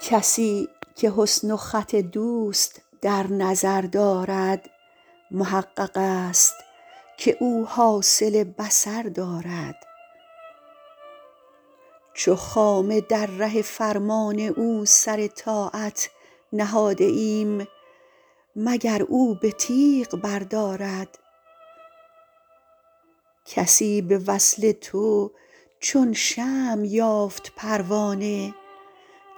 کسی که حسن و خط دوست در نظر دارد محقق است که او حاصل بصر دارد چو خامه در ره فرمان او سر طاعت نهاده ایم مگر او به تیغ بردارد کسی به وصل تو چون شمع یافت پروانه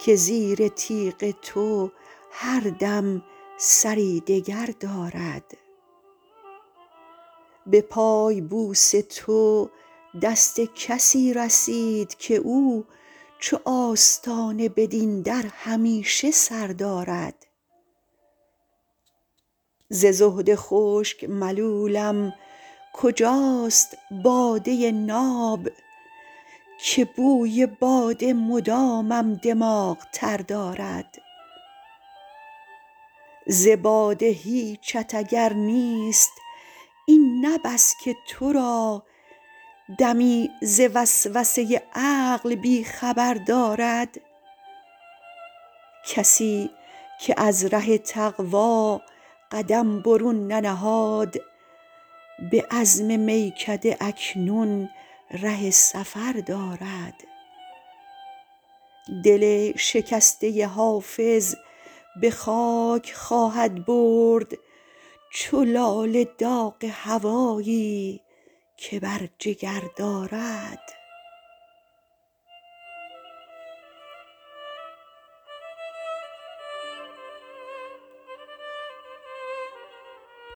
که زیر تیغ تو هر دم سری دگر دارد به پای بوس تو دست کسی رسید که او چو آستانه بدین در همیشه سر دارد ز زهد خشک ملولم کجاست باده ناب که بوی باده مدامم دماغ تر دارد ز باده هیچت اگر نیست این نه بس که تو را دمی ز وسوسه عقل بی خبر دارد کسی که از ره تقوا قدم برون ننهاد به عزم میکده اکنون ره سفر دارد دل شکسته حافظ به خاک خواهد برد چو لاله داغ هوایی که بر جگر دارد